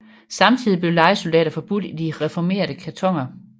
Samtidig blev lejesoldater forbudt i de reformerte kantoner